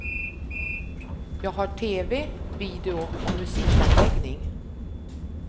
Jag har tv, video och musikanläggning.